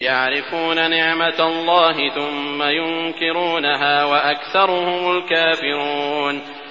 يَعْرِفُونَ نِعْمَتَ اللَّهِ ثُمَّ يُنكِرُونَهَا وَأَكْثَرُهُمُ الْكَافِرُونَ